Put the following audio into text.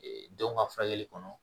denw ka furakɛli kɔnɔ